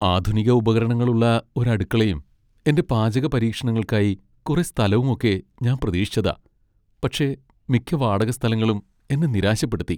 ആധുനിക ഉപകരണങ്ങളുള്ള ഒരു അടുക്കളയും എന്റെ പാചക പരീക്ഷണങ്ങൾക്കായി കുറെ സ്ഥലവും ഒക്കെ ഞാൻ പ്രതീക്ഷിച്ചതാ , പക്ഷേ മിക്ക വാടക സ്ഥലങ്ങളും എന്നെ നിരാശപ്പെടുത്തി.